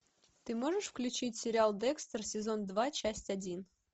ты можешь включить сериал декстер сезон два часть один